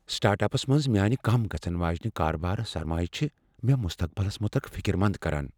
Start ups منٛز میٲنہِ کم گژھن واجیٚنہِ کارٕبٲرِ سرمایہ چھےٚ مےٚ مستقبلس متعلق فکرمند كران ۔